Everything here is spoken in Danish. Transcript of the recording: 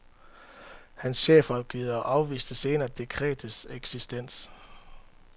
Hans chefrådgiver afviste senere dekretets eksistens.